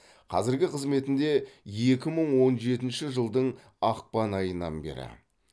қазіргі қызметінде екі мың он жетінші жылдың ақпан айынан бері